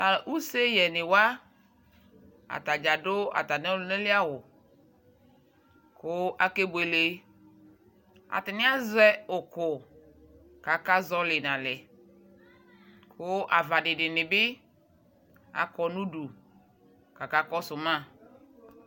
ʋseyɛniwa ataɖƶa ɖʋ ataniɔlʋnali awʋ kʋ akebʋle atani aƶɛ ʋkʋɔ kaka ƶɔli nalɛ kʋ avaɖinibi akɔ nʋɖʋ kaka kɔsʋma